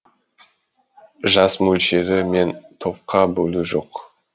жас мөлшері мен топқа бөлу жоқ